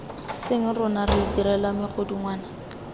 seng rona re itirelang megodungwana